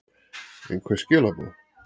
einhver skilaboð?